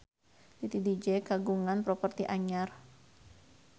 Titi DJ kagungan properti anyar